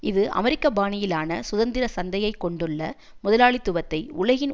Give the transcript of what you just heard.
இது அமெரிக்க பாணியிலான சுதந்திர சந்தையை கொண்டுள்ள முதலாளித்துவத்தை உலகின்